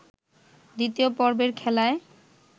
দ্বিতীয় পর্বের খেলায়